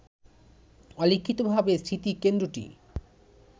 অলিখিতভাবে স্মৃতিকেন্দ্রটি